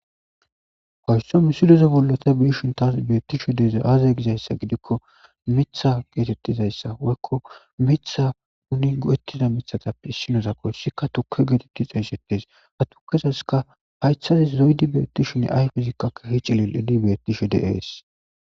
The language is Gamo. Waysso misiloze bollota biishin taas beettisho deeze aaze gizayssa gidikko mitha geetettizayssa woykko mitha nuni go7ettida mithatappe issinozakoy sikka toke geetettixa hisettes hatu keseska haythazi zoydi beetishinne ay fizikkakka hi cilil ini beettisho deees